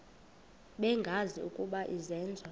bengazi ukuba izenzo